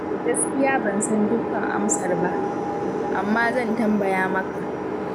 Gaskiya ban san dukkan amsar ba, amma zan tambaya maka.